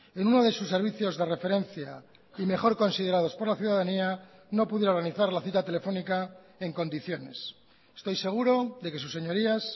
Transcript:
en uno de sus servicios de referencia y mejor considerados por la ciudadanía no pudiera organizar la cita telefónica en condiciones estoy seguro de que sus señorías